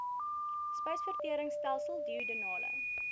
spysvertering stelsel duodenale